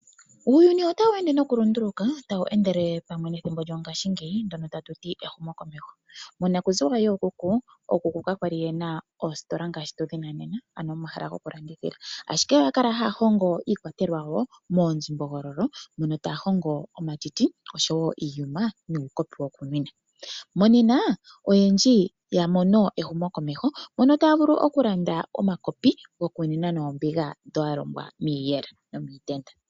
Uuyuni otawu ende nokulunduluka pamwe nethimbo lyo ngaashingeyi ndyono haku tiwa ehumo komeho. Monakuziwa yookuku ka kwali yena oositola ngaashi mopaife ano omahala gokulandithila ashike oya kala haya hongo iikwatelwa yawo moonzimbogo mono taya hongo omatiti nuukopi wokunwina. Monena oyendji ya mono ehumo komeho otaya vulu okulanda omakopi gokunwina noombigs bdhoka dha longwa miiyela.